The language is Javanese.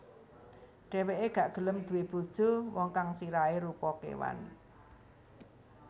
Dheweke gak gelem duwé bojo wong kang sirahe rupa kewan